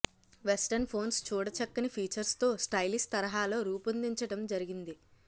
western phones చూడచక్కని ఫీచర్స్తో stylish తరహాలో రూపోందించడం జరిగింది